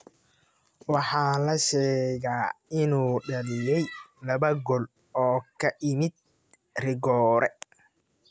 Waxaa la sheegaa inuu dhaliyay laba gool oo ka yimid rigoore.